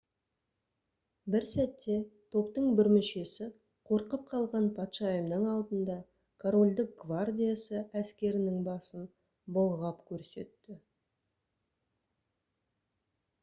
бір сәтте топтың бір мүшесі қорқып қалған патшайымның алдында корольдік гвардиясы әскерінің басын бұлғап көрсетті